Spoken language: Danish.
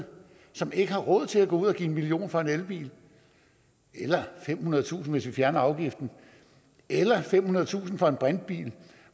som ikke har råd til at gå ud og give en million kroner for en elbil eller femhundredetusind kr hvis vi fjerner afgiften eller femhundredetusind kroner for en brintbil